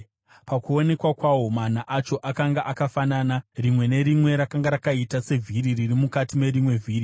Pakuonekwa kwawo, mana acho akanga akafanana; rimwe nerimwe rakanga rakaita sevhiri riri mukati merimwe vhiri.